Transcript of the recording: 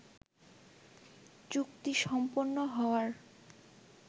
চুক্তি সম্পন্ন হওয়ার